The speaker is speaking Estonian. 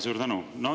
Suur tänu!